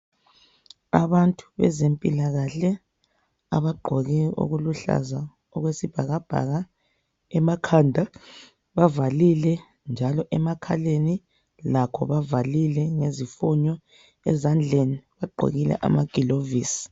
Abantu bezempilakahle abagqoke okuluhlaza okwesibhakabhaka. Emakhanda bavalile njalo emakhaleni lakho bavalile ngezifunyo, ezandleni bagqokile amagilovisi.